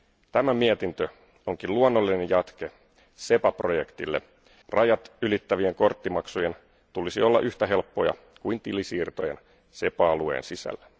Tämä mietintö onkin luonnollinen jatke SEPA projektille rajat ylittävien korttimaksujen tulisi olla yhtä helppoja kuin tilisiirtojen SEPA alueen sisällä.